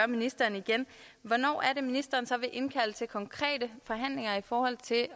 ministeren igen hvornår er det at ministeren så vil indkalde til konkrete forhandlinger i forhold til